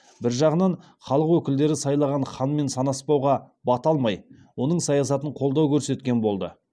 бір жағынан халық өкілдері сайлаған ханмен санаспауға бата алмай оның саясатына қолдау көрсеткен болды